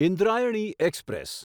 Indrayani express